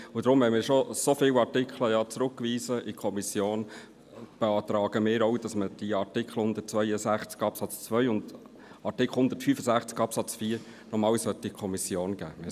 Da wir bereits so viele Artikel an die Kommission zurückgewiesen haben, beantragen wir, auch Artikel 162 Absatz 2 und Artikel 165 Absatz 4 an die Kommission zurückzugeben.